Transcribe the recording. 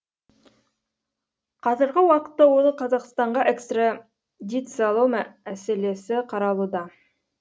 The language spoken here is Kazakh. қазіргі уақытта оны қазақстанға экстрадициялау мәселесі қаралуда